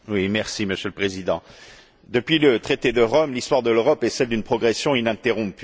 Monsieur le Président, depuis le traité de Rome, l'histoire de l'Europe est celle d'une progression ininterrompue.